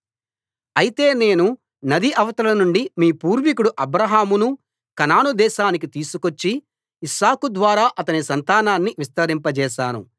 అయితే నేను నది అవతల నుండి మీ పూర్వీకుడు అబ్రాహామును కనాను దేశానికి తీసుకొచ్చి ఇస్సాకు ద్వారా అతని సంతానాన్ని విస్తరింపజేశాను